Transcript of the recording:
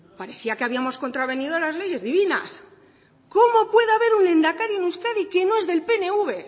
parecía que habíamos contravenido las leyes divinas cómo puede haber un lehendakari en euskadi que no es del pnv